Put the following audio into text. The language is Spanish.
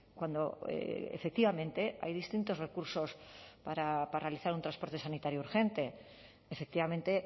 cuando efectivamente hay distintos recursos para realizar un transporte sanitario urgente efectivamente